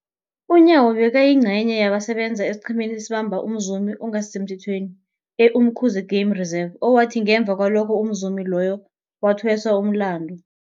UNyawo bekayingcenye yabasebenza esiqhemeni esabamba umzumi ongasisemthethweni e-Umkhuze Game Reserve, owathi ngemva kwalokho umzumi loyo wathweswa umlandu.